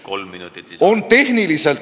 Kolm minutit lisaaega.